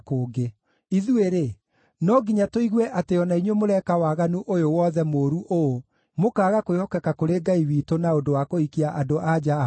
Ithuĩ-rĩ, no nginya tũigue atĩ o na inyuĩ mũreka waganu ũyũ wothe mũũru ũũ, mũkaaga kwĩhokeka kũrĩ Ngai witũ na ũndũ wa kũhikia andũ-a-nja a kũngĩ?”